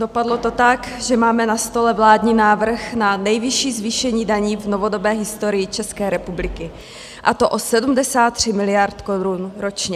Dopadlo to tak, že máme na stole vládní návrh na nejvyšší zvýšení daní v novodobé historii České republiky, a to o 73 miliard korun ročně.